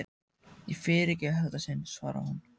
Ég fyrirgef í þetta sinn, svarar hún.